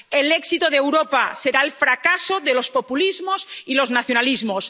El éxito de Europa será el fracaso de los populismos y los nacionalismos.